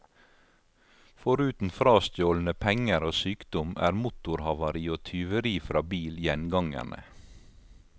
Foruten frastjålne penger og sykdom, er motorhavari og tyveri fra bil gjengangerne.